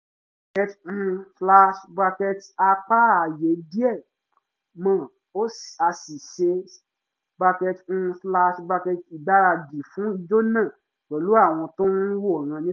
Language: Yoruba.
um a pa ààyè díẹ̀ mọ́ a sì ṣe um ìgbáradì fún ijó náà pẹ̀lú àwọn tó ń wòran nítòsí